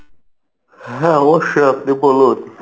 হ্যাঁ, অবশ্যই আপনি বলুন।